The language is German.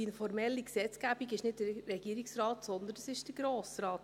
Die formelle Gesetzgebung macht nicht der Regierungsrat, sondern der Grosse Rat.